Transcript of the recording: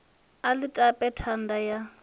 a ḽi tape thanda ya